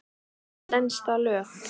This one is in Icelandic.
Stenst það lög?